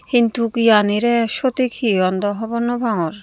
hintuk iyanirey sotik he hon daw hobor naw pangor.